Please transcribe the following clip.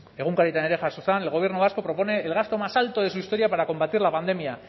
egunkarietan ere jaso zen el gobierno vasco propone el gasto más alto de su historia para combatir la pandemia